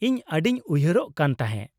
-ᱤᱧ ᱟᱹᱰᱤᱧ ᱩᱭᱦᱟᱹᱨᱚᱜ ᱠᱟᱱ ᱛᱟᱦᱮᱫ ᱾